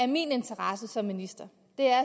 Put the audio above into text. min interesse som minister